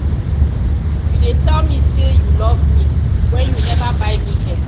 you dey tell me say you love me wen you never buy me hair.